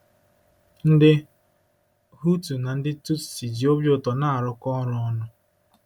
Ndị Hutu na ndị Tutsi ji obi ụtọ na-arụkọ ọrụ ọnụ